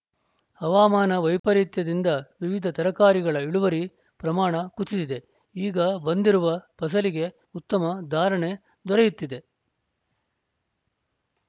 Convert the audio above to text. ಹವಾಮಾನ ವೈಪರೀತ್ಯದಿಂದ ವಿವಿಧ ತರಕಾರಿಗಳ ಇಳುವರಿ ಪ್ರಮಾಣ ಕುಸಿದಿದೆ ಈಗ ಬಂದಿರುವ ಫಸಲಿಗೆ ಉತ್ತಮ ಧಾರಣೆ ದೊರೆಯುತ್ತಿದೆ